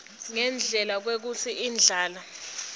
ngendlela kwekutsi indlala